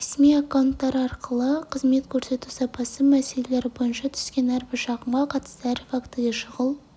ресми аккаунттары арқылы қызмет көрсету сапасы мәселелері бойынша түскен әрбір шағымға қатысты әр фактіге шұғыл